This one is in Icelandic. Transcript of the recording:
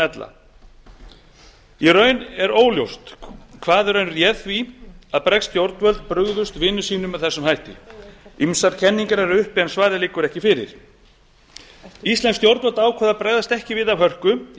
ella í raun er óljóst hvað réð því að bresk stjórnvöld brugðust vinum sínum með þessum hætti ýmsar kenningar eru uppi en svarið liggur ekki fyrir íslensk stjórnvöld ákváðu að bregðast ekki við af hörku í von